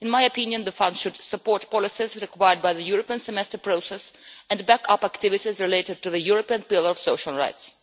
In my opinion the fund should support policies required by the European Semester process, and backup activities related to the European Pillar of Social Rights.